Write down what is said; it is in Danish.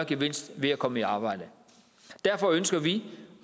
gevinst ved at komme i arbejde derfor ønsker vi